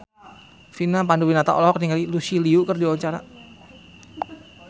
Vina Panduwinata olohok ningali Lucy Liu keur diwawancara